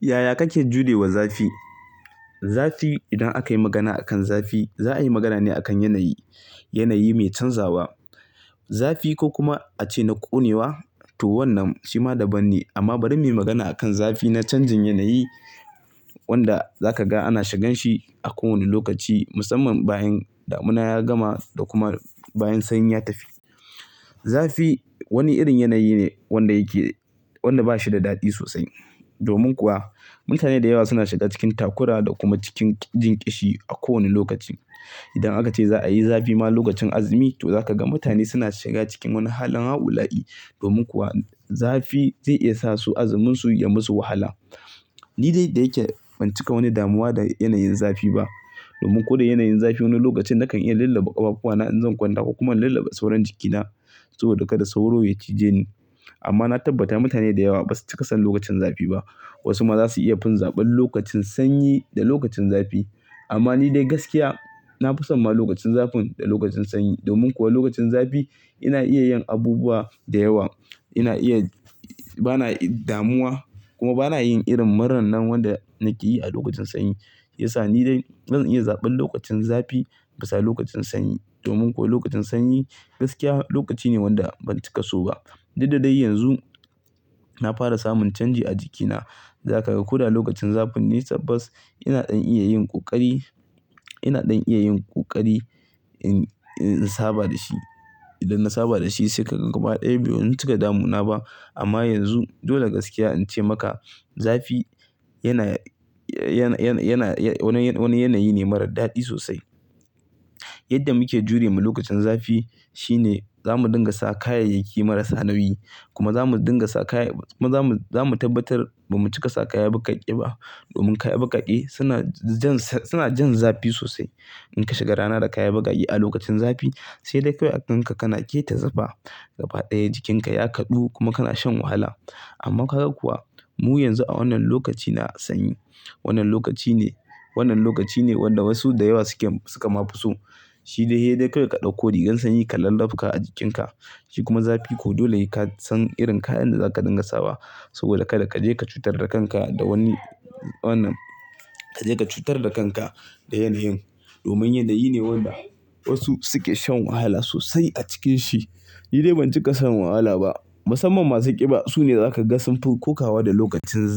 Yaya kake jure wa zafi. Zafi idan akayi magana akan zafi za a yi magana ne akan yanayi, yanayi mai canzawa. Zafi ko kuma ace na ƙonewa to wannan shima daban ne amma bari muyi magana akan zafi na canjin yanayi wanda zaka ga ana shigan shi a ko wani lokaci musamman bayan damuna ya gama da kuma bayan sanyi ya tafi. Zafi wani irin yanayi ne wanda yake, wanda ba shi da daɗi sosai. Domin kuwa mutane da yawa suna shiga cikin takura da kuma cikin jinkishi a ko wani lokaci. Idan aka ce za'a yi zafi ma lokacin azumi to zaka ga mutane suna shiga cikin wani halin hau la'i domin kuwa zafi zai iya sa su azumunsu ya musu wahala. Ni dai da yake ban cika wani damuwa da yanayin zafi ba domin ko da yanayin zafi wani lokacin nakan iya lallaba ƙafafuwana in zan kwanta kuma lallaba sauran jikina saboda kada sauro ya cije ni. Amma na tabbata mutane da yawa basu cika son lokacin zafi ba. Wasu ma zasu iya fin zaben lokacin sanyi da lokacin zafi amma ni dai gaskiya na fi son ma lokacin zafin da lokacin sanyi. Domin kuwa lokacin zafi ina iya yin abubuwa da yawa. Ina iya, bana damuwa kuma bana yin irin muran nan wanda nake yi a lokacin sanyi. Ya sa ni dai zan iya zaben lokacin zafi bisa lokacin sanyi. Domin kuwa lokacin sanyi gaskiya lokaci ne wanda ban cika so ba. Dud dadai yanzu na fara samun canji a jikina. Zaka ga kuda lokacin zafin ne tabbas ina ɗan iya yin ƙoƙari, ina ɗan iya yin ƙoƙari in, in saba da shi. Idan na saba da shi sai ka ga gaba ɗaya bai mun cika damuna ba. Amma yanzu dole gaskiya in ce maka zafi yana, yana, yana, yana wani, wani yanayi ne marar daɗi sosai. Yadda muke jure mu lokacin zafi shine zamu dinga sa kayayyaki marasa nauyi kuma zamu dinga sa kaya, zamu, zamu tabbatar ba mu cika sa kaya baƙaƙe ba domin kaya baƙaƙe suna jan, suna jan zafi sosai. In ka shiga rana da kaya baƙaƙe a lokacin zafi sai dai kawai a kanka kana keta zufa. Gaba ɗaya jikinka ya kaɗu kuma kana shan wahala. Amma kaga kuwa mu yanzu a wannan lokaci na sanyi. Wannan lokaci ne, wannan lokaci ne wanda wasu da yawa suke, suka ma fi so. Shi dai hei dai kai ka ɗauko rigar sanyi ka lallaf ka a jikinka. Shi kuma zafi ko dole ka san irin kayan da zaka dinga sawa saboda kada ka je ka cutar da kanka da wani wannan, ka je ka cutar da kanka da yanayin. Domin yanda yini ne wanda wasu suke shan wahala sosai a cikin shi. Ni dai ban cika son wahala ba. Musamman masu ƙiba sune zakaga sunfi ko kawa da lokacin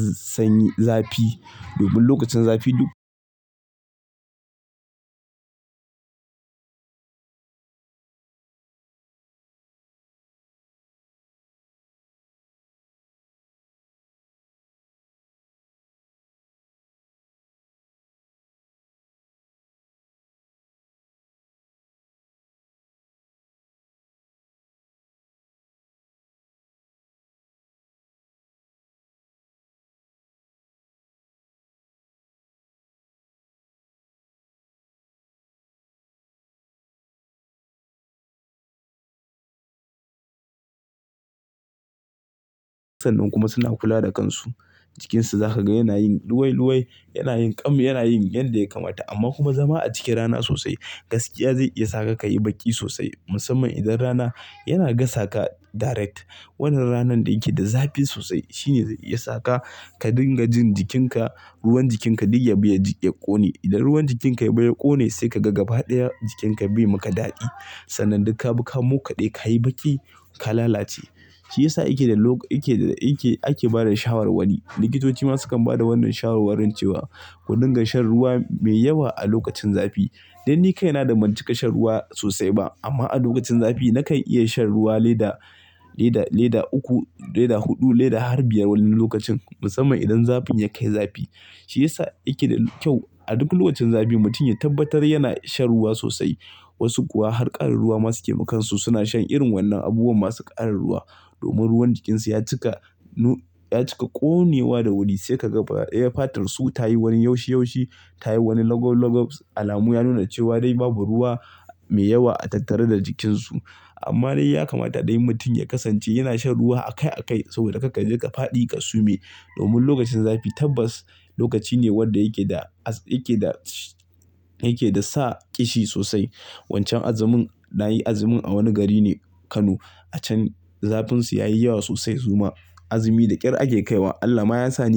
zafi domin lokacin zafi duk sannan kuma suna kula da kansu. Jikinsu za ka ga yana yin luwai luwai, yana yin ƙam, yana yin yanda ya kamata amma kuma zama a ciki rana sosai gaskiya zai iya saka ka yi baƙi sosai musamman idan rana yana gasa ka direct. Wannan ranar da yake da zafi sosai shine zai iya saka ka dinga jin jikinka, ruwan jikinka ɗiga biya jiki ya ƙone. Idan ruwan jikinka ya biya ya ƙone sai ka ga gaba ɗaya jikinka bai maka daɗi. Sannan duk ka bi ka moka ɗe, ka yi baƙi, ka lalace. Shi ya sa yake da lok, yake da, yake ake bada shawarwari. Likitoci ma sukan bada wannan shawarwarin cewa ku dinga shan ruwa mai yawa a lokacin zafi. Dan ni kai na da ban cika shan ruwa sosai ba amma a lokacin zafi nakan iya shan ruwa leda, leda, leda uku, leda huɗu, leda har biyar wani lokacin musamman idan zafin ya kai zafi. Shi ya sa yake da kyau a duk lokacin zafi mutum ya tabbatar yana shan ruwa sosai. Wasu kuwa har ƙarin ruwa ma suke makansu suna shan irin wannan abubuwa masu ƙarin ruwa domin ruwan jikinsu ya cika nu, ya cika ƙonewa da wuri sai ka ga gaba ɗaya fatarsu ta yi wani yaushe yaushe, ta yi wani logo logo. Alamu ya nuna cewa dai babu ruwa mai yawa a tattare da jikinsu. Amma dai ya kamata dai mutum ya kasance yana shan ruwa a kai a kai saboda kar ka je ka faɗi ka sume. Domin lokacin zafi tabbas lokaci ne wanda yake da, yake da, yake da sa ƙishi sosai. Wancan azumin na yi azumin a wani gari ne Kano. A can zafin su ya yi yawa sosai su ma azumi da ƙyar ake kai wa. Allah ma ya sa ni.